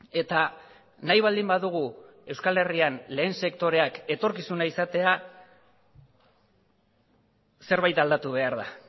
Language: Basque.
eta nahi baldin badugu euskal herrian lehen sektoreak etorkizuna izatea zerbait aldatu behar da